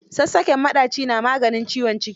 Sassaƙen maɗaci na maganin ciwon ciki.